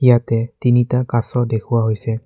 ইয়াতে তিনিটা কাছ দেখুওৱা হৈছে।